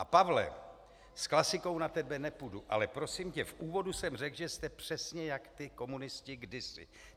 A Pavle, s klasikou na tebe nepůjdu, ale prosím tě, v úvodu jsem řekl, že jste přesně jak ti komunisté kdysi.